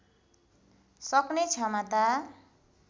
सक्ने क्षमता